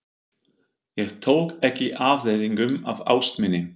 Ég tók ekki afleiðingum af ást minni.